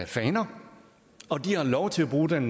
faner og de har lov til at bruge den